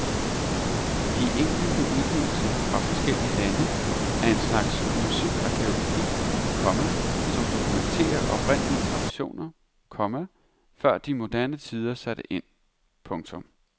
De enkelte udgivelser fra forskellige lande er en slags musikarkæologi, komma som dokumenterer oprindelige traditioner, komma før de moderne tider satte ind. punktum